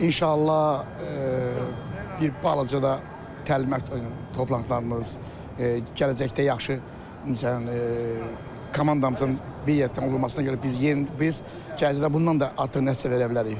İnşallah bir balaca da təlim-məşq toplanışlarımız, gələcəkdə yaxşı komandamızın birliyə də olduğuna görə biz gələcəkdə bundan da artıq nəticə verə bilərik.